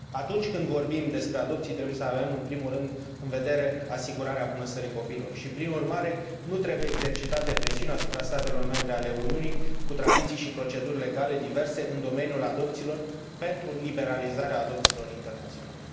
Atunci când vorbim despre adopții trebuie să avem, în primul rând, în vedere asigurarea bunăstării copilului și, prin urmare, nu trebuie exercitate presiuni asupra statelor membre ale Uniunii, cu tradiții și proceduri legale diverse în domeniul adopțiilor, pentru liberalizarea adopțiilor internaționale